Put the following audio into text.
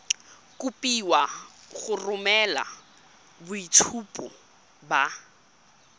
kopiwa go romela boitshupo ba